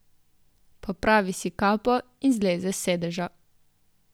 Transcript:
Popravi si kapo in zleze s sedeža.